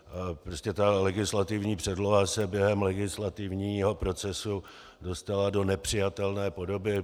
Prostě ta legislativní předloha se během legislativního procesu dostala do nepřijatelné podoby.